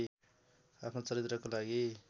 आफ्नो चरित्रको लागि